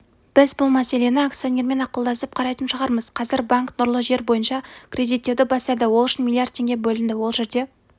біз бұл мәселені акционермен ақылдасып қарайтын шығармыз қазір банк нұрлы жер бойынша кредиттеуді бастады ол үшін млрд теңге бөлінді ол жерде